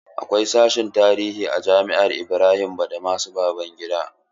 Akwai sashen tarihi a jami'ar Ibrahim badamasi Babangida.